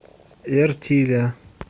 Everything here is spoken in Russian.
эртиля